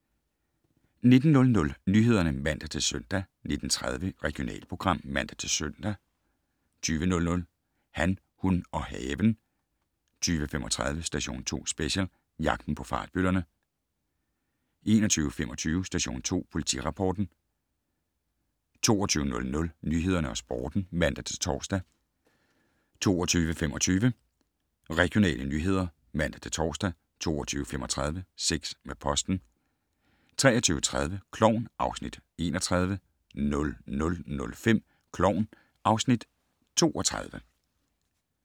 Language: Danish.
19:00: Nyhederne (man-søn) 19:30: Regionalprogram (man-søn) 20:00: Han, hun og haven 20:35: Station 2 Special: Jagten på fartbøllerne 21:25: Station 2 Politirapporten 22:00: Nyhederne og Sporten (man-tor) 22:25: Regionale nyheder (man-tor) 22:35: Sex med posten 23:30: Klovn (Afs. 31) 00:05: Klovn (Afs. 32)